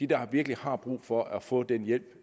der virkelig har brug for at få den hjælp